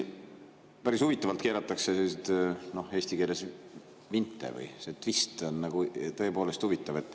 Päris huvitavalt keeratakse eesti keeles vinte, see twist on tõepoolest huvitav.